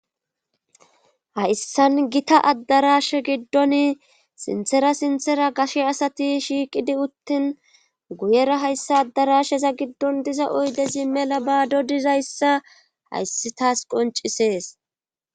hayssan gita addarashe giddon sinthera sinthera gashe asati shiiqidi uttin guyera hayssa addarasheza giddon diza oydezi mela baado dizayssa hayssi taas qoncisees